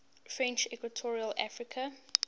french equatorial africa